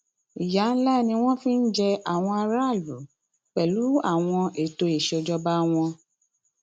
ìyà ńlá ni wọn fi ń jẹ àwọn aráàlú pẹlú àwọn ètò ìṣèjọba wọn